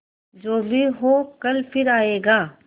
जो भी हो कल फिर आएगा